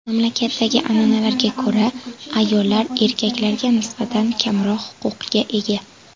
Mamlakatdagi an’analarga ko‘ra, ayollar erkaklarga nisbatan kamroq huquqqa ega.